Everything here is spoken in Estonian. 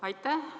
Aitäh!